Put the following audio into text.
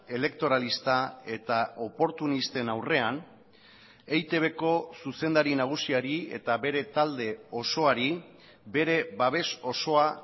elektoralista eta oportunisten aurrean eitbko zuzendari nagusiari eta bere talde osoari bere babes osoa